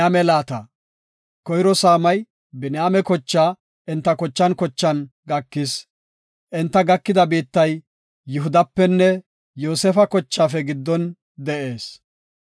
Koyro saamay Biniyaame kochaa enta kochan kochan gakis. Enta gakida biittay Yihudapenne Yoosefa kochaafe giddon de7ees.